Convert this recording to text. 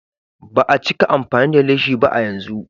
Ba a cika amfani da leshi ba a yanzu.